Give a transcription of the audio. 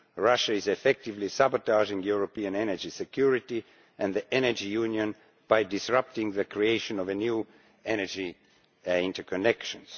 Russia is effectively sabotaging European energy security and the energy union by disrupting the creation of new energy interconnections.